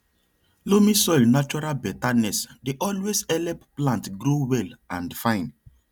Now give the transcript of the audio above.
loamy soil natural betterness dey always help plant grow well and fine